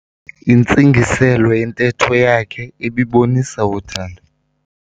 Intsingiselo yentetho yakhe ibibonisa uthando.